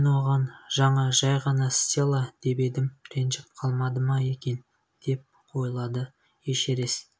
мен оған жаңа жай ғана стелла деп едім ренжіп қалмады ма екен деп ойлады эшерест